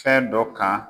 Fɛn dɔ kan